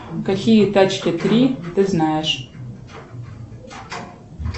какие тачки три ты знаешь